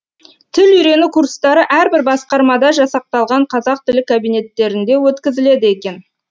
тіл үйрену курстары әрбір басқармада жасақталған қазақ тілі кабинеттерінде өткізіледі екен